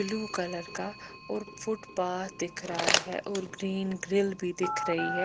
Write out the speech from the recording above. Blue colour का और footpath दिख रहा है और ग्रीन ग्रिल भी दिख रही है।